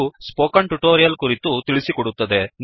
ಇದು ಈ spoken tutorial ಕುರಿತು ತಿಳಿಸಿಕೊಡುತ್ತದೆ